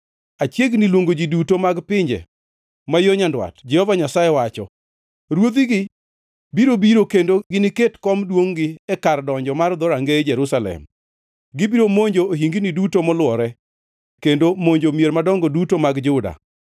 Achiegni luongo ji duto mag pinje ma yo nyandwat,” Jehova Nyasaye wacho. Ruodhigi biro biro kendo giniket kom duongʼ-gi e kar donjo mar dhorangeye Jerusalem; gibiro monjo ohingini duto molwore kendo monjo mier madongo duto mag Juda.